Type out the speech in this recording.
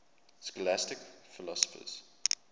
scholastic philosophers